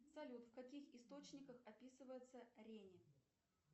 салют в каких источниках описывается рени